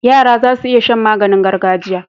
Yara zasu iya Shan maganin gargajiya